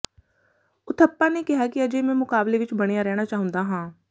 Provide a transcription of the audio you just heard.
ਉਥੱਪਾ ਨੇ ਕਿਹਾ ਕਿ ਅਜੇ ਮੈਂ ਮੁਕਾਬਲੇ ਵਿਚ ਬਣਿਆ ਰਹਿਣਾ ਚਾਹੁੰਦਾ ਹਾਂ